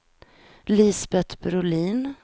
Lisbet Brolin